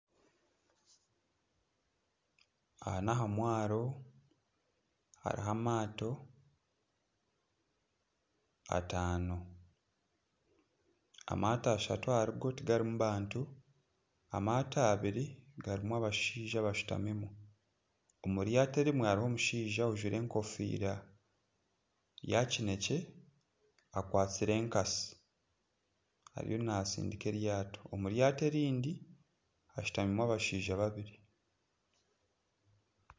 Aha n'aha mwaro hariho amato ataano. Amato ashatu ahari go tigarimu bantu. Amato abiri garimu abashaija abashutamimu, omu ryato erimwe hariho omushaija ajwaire enkofiira ya kinekye akwatsire enkasi ariyo natsindika eryato. Omu ryato erindi hashutamimu abashaija babiri.